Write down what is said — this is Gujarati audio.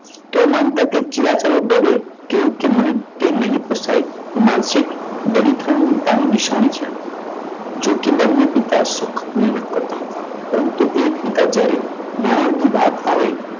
તેઓ માનતા કે ચિલા ચાલુ ડબે કેમ તે મને નહીં પોસાય? એ માનસિક દરેક દરિદ્રતાની નિશાની છે. જોકે બંને પિતા સખત મહેનત કરતા હતા. પરંતુ એક પિતા જ્યારે નાણાંની વાત આવે.